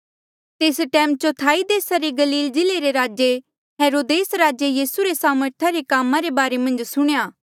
तेस टैम चौथाई देसा रे गलील जिल्ले रा राजा हेरोदेस राजे यीसू रे सामर्था रे कामा रे बारे मन्झ सुणेया